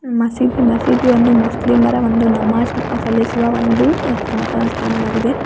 ಮಸೀದಿ ಮಸೀದಿ ಒಂದು ಮುಸ್ಲಿಮರ ಒಂದು ನಮಾಜ್ ನ್ನು ಸಲ್ಲಿಸುವ ಒಂದು ಸ್ಥನ್ ದೇವಸ್ಥಾನವಾಗಿದೆ.